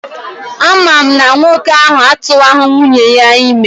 Ama m na nwoke ahụ atụwaghị nwunye ya ime.